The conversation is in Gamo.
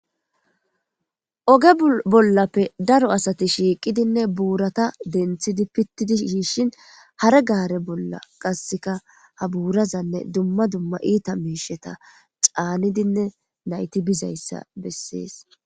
oge bollappe daro asati shiiqidinne buurata denthidi pittidi shiishin hare gaare bolla qasseka ha buurazanne dumma dumma iita misheta caanidinne nayti bizayssa bessees